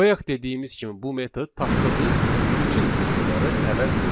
Bayaq dediyimiz kimi bu metod tapdığı bütün simvolları əvəz edir.